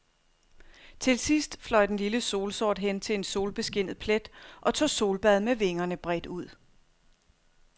Til sidst fløj den lille solsort hen til en solbeskinnet plet og tog solbad med vingerne bredt ud.